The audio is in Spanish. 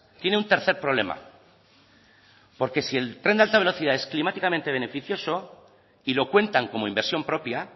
tiene un tercer problema porque si el tren de alta velocidad es climáticamente beneficioso y lo cuentan como inversión propia